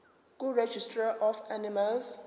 kuregistrar of animals